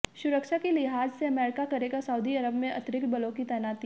सुरक्षा की लिहाज से अमेरिका करेगा सऊदी अरब में अतिरिक्त बलों की तैनाती